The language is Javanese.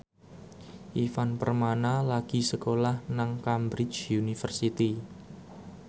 Ivan Permana lagi sekolah nang Cambridge University